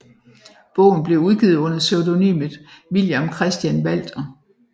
Bogen blev udgivet under pseudonymet Villiam Christian Walter